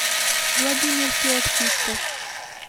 владимир феоктистов